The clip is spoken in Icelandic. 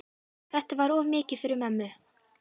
Þetta var of mikið fyrir mömmu.